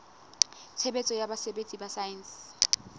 tshebetso ya botsebi ba saense